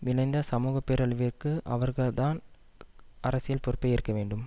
விளைந்த சமூகப்பேரழிவிற்கு அவர்கள் தான் அரசியல் பொறுப்பை ஏற்க வேண்டும்